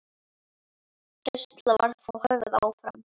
Gæsla var þó höfð áfram.